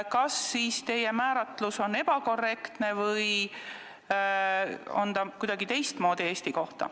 Kas teie määratlus on ebakorrektne või käib see Eesti kohta kuidagi teistmoodi?